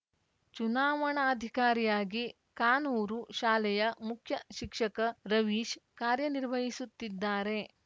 ಚುನಾವಣಾಧಿಕಾರಿಯಾಗಿ ಕಾನೂರು ಶಾಲೆಯ ಮುಖ್ಯಶಿಕ್ಷಕ ರವೀಶ್‌ ಕಾರ್ಯನಿರ್ವಹಿಸುತ್ತಿದ್ದಾರೆ